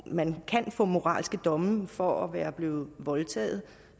at man kan få moralske domme for at være blevet voldtaget